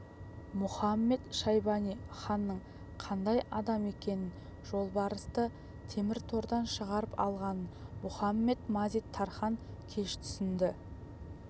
мұхамед-шайбани ханның қандай адам екенін жолбарысты темір тордан шығарып алғанын мұхамед-мазит-тархан кеш түсінді